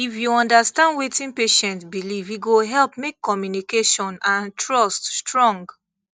if you understand wetin patient believe e go help make communication and trust strong